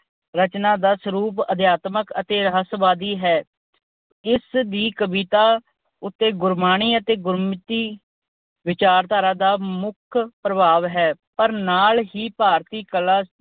ਰਚਨਾ ਦਾ ਸਰੂਪ, ਅਧਿਆਤਮਕ ਅਤੇ ਰਹੱਸਵਾਦੀ ਹੈ। ਇਸ ਦੀ ਕਵਿਤਾ ਉੱਤੇ ਗੁਰਬਾਣੀ ਅਤੇ ਗੁਰਮਤਿ ਵਿਚਾਰਧਾਰਾ ਦਾ ਮੁੱਖ ਪ੍ਰਭਾਵ ਹੈ ਪਰ ਨਾਲ ਹੀ ਭਾਰਤੀ ਕਲਾ